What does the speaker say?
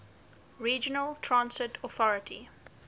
regional transit authority